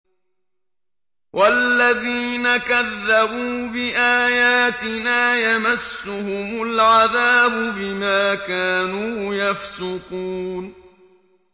وَالَّذِينَ كَذَّبُوا بِآيَاتِنَا يَمَسُّهُمُ الْعَذَابُ بِمَا كَانُوا يَفْسُقُونَ